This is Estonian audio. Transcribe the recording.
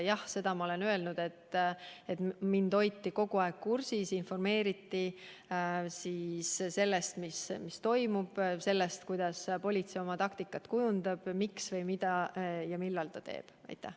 Jah, seda ma olen öelnud, et mind hoiti kogu aeg kursis, informeeriti sellest, mis toimub, sellest, kuidas politsei oma taktikat kujundab, miks ja mida ja millal midagi tehakse.